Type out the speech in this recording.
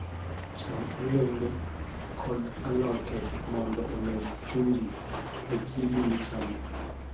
Cham olembe kod alote mondo omed chumbi e chiembi michamo.